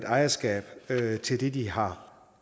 ejerskab til det de har